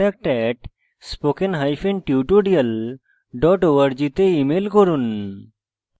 বিস্তারিত তথ্যের জন্য contact @spokentutorial org তে ইমেল করুন